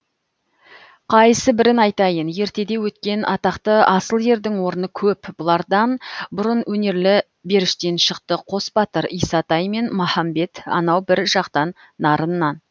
қайсы бірін айтайын ертеде өткен атақты асыл ердің орны көп бұлардан бұрын өнерлі беріштен шықты қос батыр исатай мен махамбет анау бір жатқан нарыннан